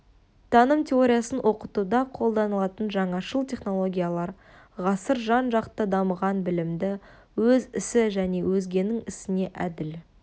таным теориясын оқытуда қолданылатын жаңашыл технологиялар ғасыр жан-жақты дамыған білімді өз ісі және өзгенің ісіне әділ